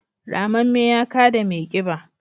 ramamme ya kada mai kiba